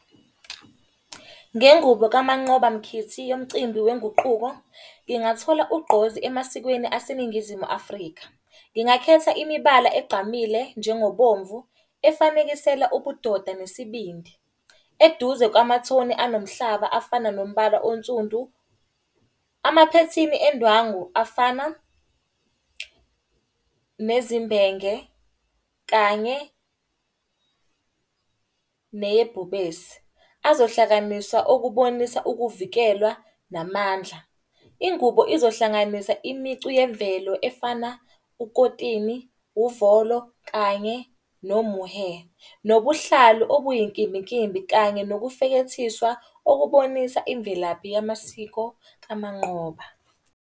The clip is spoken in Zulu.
Ngengubo kaMnqoba Mkhithi yomcimbi wenguquko, ngingathola ugqozi emasikweni aseNingizimu Afrika. Ngingakhetha imibala egqamile njengokubomvu efanekisela ubudoda nesibindi. Eduze kwamathoni anomhlaba, afana nombala onsundu, amaphethini endwangu afana nezimbenge kanye neyebhubesi. Azohlakaniswa okubonisa ukuvikelwa namandla. Ingubo izohlanganisa imicu yemvelo efana ukotini, uvolo kanye nomuhe. Nobuhlalu obuyinkimbinkimbi kanye nokufekethiswa okubonisa imvelaphi yamasiko kaManqoba.